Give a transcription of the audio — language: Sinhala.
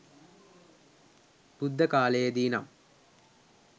බුද්ධකාලයේ දී නම්